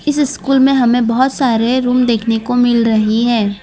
इस स्कूल में हमें बहोत सारे रूम देखने को मिल रही है।